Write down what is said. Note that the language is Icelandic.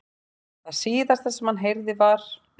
Það síðasta sem hann heyrði var.